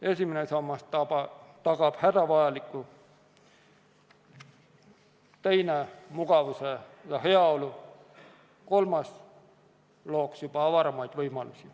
Esimene sammas tagab hädavajaliku, teine mugavuse ja heaolu ning kolmas looks juba avaramaid võimalusi.